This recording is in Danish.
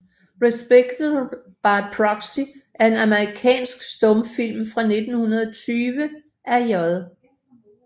Respectable by Proxy er en amerikansk stumfilm fra 1920 af J